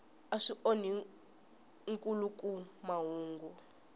a swi onhi nkhuluk mahungu